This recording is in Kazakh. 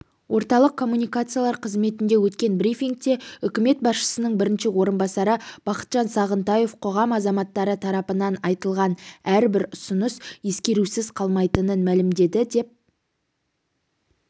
орталық коммуникациялар қызметінде өткен брифингте үкімет басшысының бірінші орынбасары бақытжан сағынтаев қоғам азаматтары тарапынан айтылған әрбір ұсыныс ескерусіз қалмайтынын мәлімдеді деп